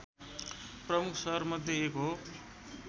प्रमुख सहरमध्ये एक हो